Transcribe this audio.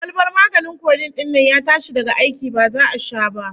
Kwalbar maganin codeine din nan ya tashi daga aiki, ba za'a sha ba